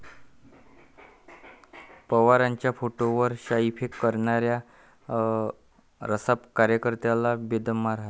पवारांच्या फोटोवर शाईफेक करणाऱ्या रासप कार्यकर्त्याला बेदम मारहाण